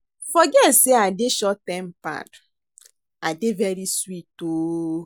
Forget say I dey short tempered, I dey very sweet oo